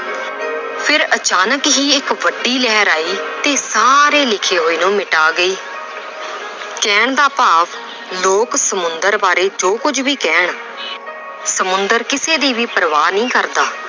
ਫਿਰ ਅਚਾਨਕ ਹੀ ਇੱਕ ਵੱਡੀ ਲਹਿਰ ਆਈ ਤੇ ਸਾਰੇ ਲਿਖੇ ਹੋਏ ਨੂੰ ਮਿਟਾ ਗਈ ਕਹਿਣ ਦਾ ਭਾਵ ਲੋਕ ਸਮੁੰਦਰ ਬਾਰੇ ਜੋ ਕੁੱਝ ਵੀ ਕਹਿਣ ਸਮੁੰਦਰ ਕਿਸੇ ਦੀ ਵੀ ਪਰਵਾਹ ਨਹੀਂ ਕਰਦਾ